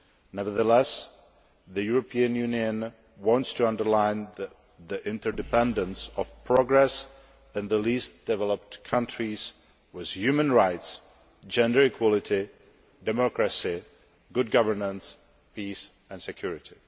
Nevertheless, the European Union wants to underline the interdependence of progress in the least developed countries with human rights, gender equality, democracy, good governance, peace and security.